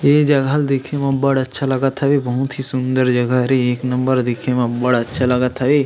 ए जगह ल देखे म बढ़ अच्छा लगत हवे बहुत ही सुन्दर जगह हे एक नंबर देखे में बढ़ अच्छा लगत हवे।